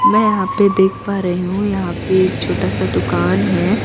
मैं यहाँ पे देख पा रही हु यहाँ पे एक छोटा सा दुकान है।